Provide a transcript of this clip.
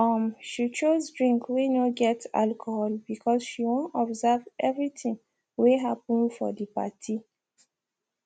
um she choose drink whey no get alcohol because she wan observe everything whey happen for the party